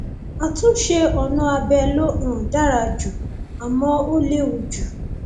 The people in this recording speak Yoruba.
àtúnṣe ọnà abẹ ló um dára jù àmọ ó léwu jù